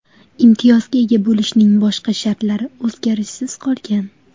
Imtiyozga ega bo‘lishning boshqa shartlari o‘zgarishsiz qolgan.